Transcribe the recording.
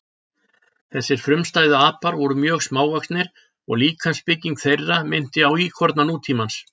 Þessir frumstæðu apar voru mjög smávaxnir og líkamsbygging þeirra minnti á íkorna nútímans.